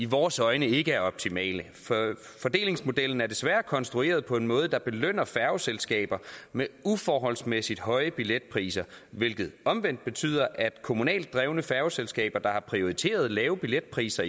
vores øjne ikke er optimal fordelingsmodellen er desværre konstrueret på en måde der belønner færgeselskaber med uforholdsmæssig høje billetpriser hvilket omvendt betyder at kommunalt drevne færgeselskaber der har prioriteret lave billetpriser